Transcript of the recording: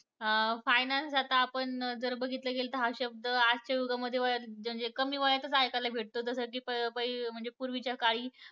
अं finance अं आता आपण जर बघितलं गेलं तर, हा शब्द आजच्या युगामध्ये म्हणजे कमी वयातच ऐकायला भेटतो. जसं की, प प म्हणजे पूर्वीच्या काळी